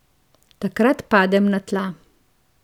Takrat padem na tla.